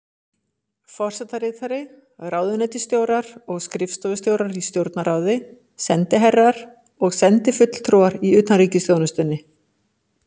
Forsetaritari, ráðuneytisstjórar og skrifstofustjórar í Stjórnarráði, sendiherrar og sendifulltrúar í utanríkisþjónustunni.